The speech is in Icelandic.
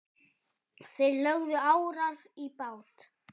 Þeir lögðu árar í bát.